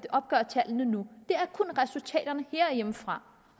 opgøre tallene nu det er kun resultaterne herhjemmefra